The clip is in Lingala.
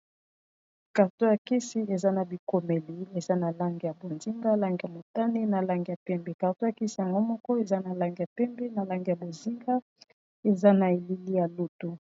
karto ya kisi eza na bikomeli eza na langi ya bonzinga langi ya motani na langi ya pembe karto ya kisi yango moko eza na langi ya pembe na langi ya bozinga eza na elili ya lutu.